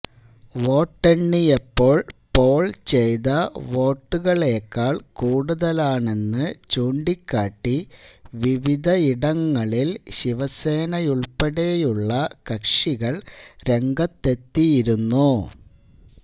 വോട്ടെണ്ണിയപ്പോള് poll ചെയ്ത വോട്ടുകളേക്കാള് കൂടുതലാണെന്ന് ചൂണ്ടിക്കാട്ടി വിവിധയിടങ്ങളില് ശിവസേനയുള്പ്പെടെയുള്ള കക്ഷികള് രംഗത്തെത്തിയിരുന്നു